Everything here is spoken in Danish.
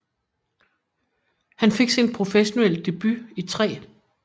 Han fik sin professionelle debut i 3